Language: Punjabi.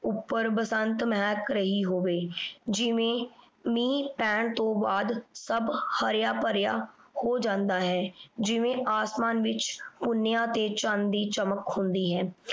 ਉਪਰ ਬਸੰਤ ਮੇਹਕ ਰਹੀ ਹੋਵੇ ਜਿਵੇਂ ਮੀਨ ਪੈਣ ਤੋਂ ਬਾਅਦ ਸਬ ਹਰਯ ਭਾਰਯ ਹੋ ਜਾਂਦਾ ਹੈ ਜਿਵੇਂ ਅਸਮਾਨ ਵ੍ਵਿਚ ਹੋਣਯ ਤੇ ਚੰਦ ਦੀ ਚਮਕ ਹੁੰਦੀ ਹੈ